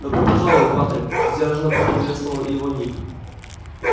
добро пожаловать патрик сдержанно поприветствовал его ник